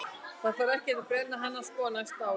Það þarf ekkert að brenna hana sko á næsta ári.